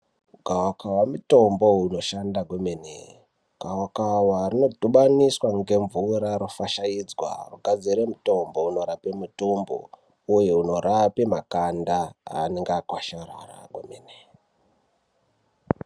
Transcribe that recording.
Gavakava mutombo unoshanda kwemene. Gavakava rinodhubaniswa ngemvura rofashaidzwa rogadzira mitombo unorape mitumbu uye unorapa makanda anenge akwasharara kwemene.